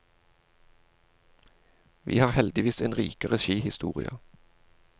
Vi har heldigvis en rikere skihistorie.